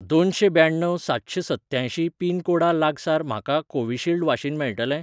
दोनशें ब्याण्णव सातशें सत्त्यांयशीं पिनकोडा लागसार म्हाका कोविशिल्ड वाशीन मेळटलें?